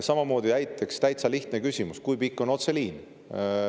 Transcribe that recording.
Samamoodi on näiteks täitsa lihtne küsimus see, et kui pikk on otseliin.